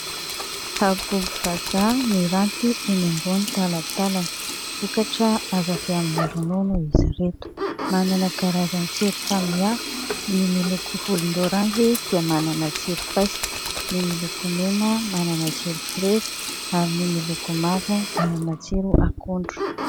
Habobo vazaha miranty eny ambony talantalana. Vokatra azo avy amin'ny ronono izy ireto. Manana karazan-tsiro samihafa : ny miloko volon-doranjy dia manana tsiro paiso, ny miloko mena manana tsiro frezy ary ny miloko mavo manana tsiro akondro.